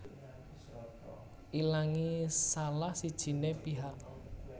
Ilangé salah sijiné pihak